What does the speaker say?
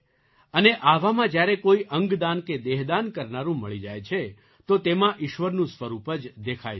અને આવામાં જ્યારે કોઈ અંગદાન કે દેહદાન કરનારું મળી જાય છે તો તેમાં ઈશ્વરનું સ્વરૂપ જ દેખાય છે